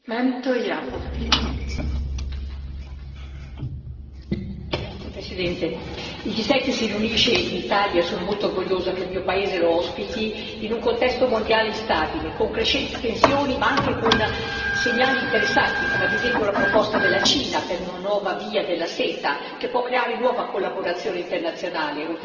Signora Presidente, onorevoli colleghi, il G7 si riunisce in Italia e io sono molto orgogliosa che il mio paese lo ospiti in un contesto mondiale instabile, con crescenti tensioni ma anche con segnali interessanti, come ad esempio la proposta della Cina per una nuova Via della Seta, che può creare nuova collaborazione internazionale oltre ai commerci.